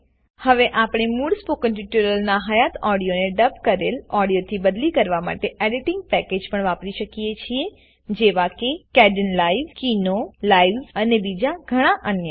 હવે આપણે મૂળ સ્પોકન ટ્યુટોરીયલના હયાત ઓડીઓને ડબ કરેલ ઓડીઓથી બદલી કરવા માટે એડીટીંગ પેકેજ પણ વાપરી શકીએ છેજેવા કે કેડેનલાઇવ કિનો લાઇવ્સ અને બીજા ઘણા અન્ય